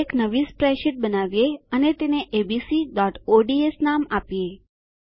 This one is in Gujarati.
એક નવી સ્પ્રેડશીટ બનાવીએ અને તેને abcઓડ્સ નામ આપીએ